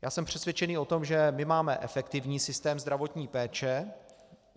Já jsem přesvědčený o tom, že my máme efektivní systém zdravotní péče.